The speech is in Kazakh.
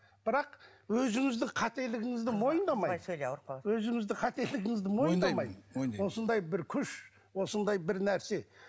бірақ өзіңіздің қателігіңізді мойындамай өзіңіздің қателігіңізді мойындамай мойындаймын осындай бір күш осындай бір нәрсе